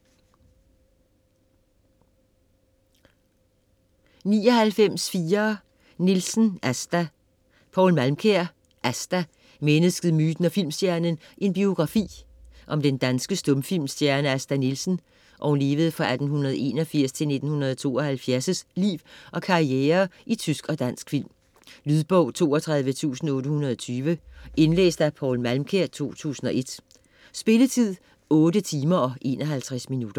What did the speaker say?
99.4 Nielsen, Asta Malmkjær, Poul: Asta: mennesket, myten og filmstjernen: en biografi Om den danske stumfilmstjerne Asta Nielsens (1881-1972) liv og karriere i tysk og dansk film. Lydbog 32820 Indlæst af Poul Malmkjær, 2001. Spilletid: 8 timer, 51 minutter.